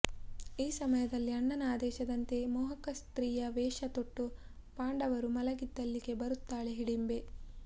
ಈ ಸಮಯದಲ್ಲಿ ಅಣ್ಣನ ಆದೇಶದಂತೆ ಮೋಹಕ ಸ್ತ್ರೀಯ ವೇಷ ತೊಟ್ಟು ಪಾಂಡವರು ಮಲಗಿದ್ದಲ್ಲಿಗೆ ಬರುತ್ತಾಳೆ ಹಿಡಿಂಬೆ